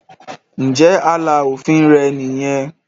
ǹjẹ́ “ààlà òfin ” rẹ nìyẹn?.